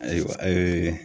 Ayiwa ee